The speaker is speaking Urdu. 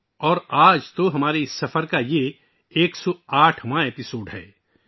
اور یقیناً آج یہ ہمارے مشترکہ سفر کی 108ویں قسط ہے